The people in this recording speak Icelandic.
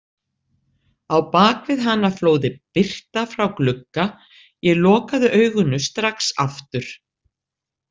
Á bak við hana flóði birta frá glugga, ég lokaði augunum strax aftur.